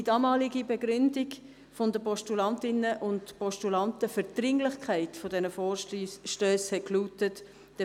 Die damalige Begründung der Postulantinnen und Postulanten für die Dringlichkeit der Vorstösse lautete: